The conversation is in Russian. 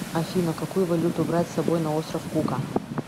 афина какую валюту брать с собой на остров кука